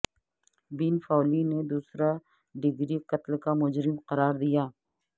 بین Foley نے دوسرا degree قتل کا مجرم قرار دیا